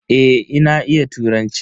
Eh na iya turanci.